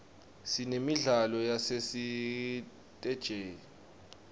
sinemidlalo yasesiteji